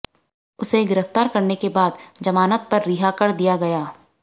उसे गिरफ्तार करने के बाद जमानत पर रिहा कर दिया गया